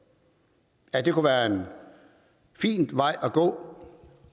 af det kunne være en fin vej at gå